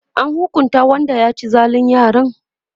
an hukunta Wanda ya ci zalin yaran?